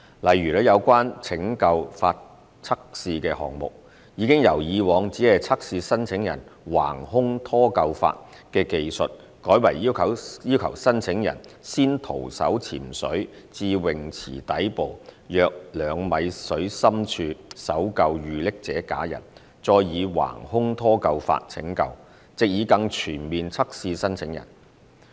例如，有關拯救法測試的項目，已由以往只測試申請人橫胸拖救法的技術，改為要求申請人先徒手潛水至泳池底部約2米水深處搜救遇溺者假人，再以橫胸拖救法拯救，藉以更全面測試申請人。